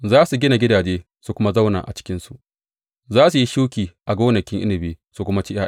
Za su gina gidaje su kuma zauna a cikinsu; za su yi shuki a gonakin inabi su kuma ci ’ya’yansu.